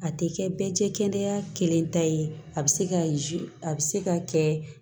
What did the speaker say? A tɛ kɛ bɛɛ cɛ kɛnɛya kelen ta ye a bɛ se ka a bɛ se ka kɛ